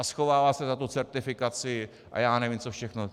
A schovává se za tu certifikaci a já nevím, co všechno.